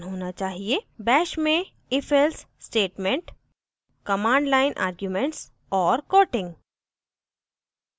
bash में * ifelse statement